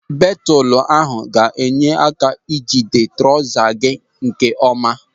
Belutu ahụ ga-enye aka ijide trọza gị nke ọma.